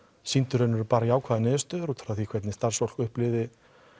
sýndu í raun og veru bara jákvæðar niðurstöður út frá því hvernig starfsfólk upplifði